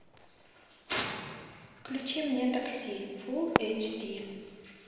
включи мне такси фул эйч ди